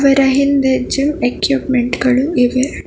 ಇದ್ರ ಹಿಂದೆ gym equipment ಗಳು ಇವೆ.